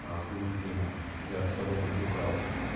охуительно я б с тобой побухал